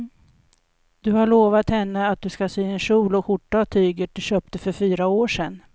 Du har lovat henne att du ska sy en kjol och skjorta av tyget du köpte för fyra år sedan.